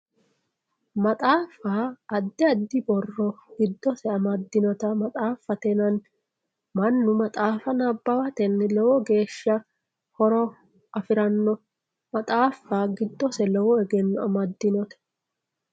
Maxaafa Maxaaffa yaa adi adi borro gidose amadinota maxaaffate yinani mannu maxaafa nabawateni lowo geesha horo afirano maxaafa gidose lowo egeno amadinote.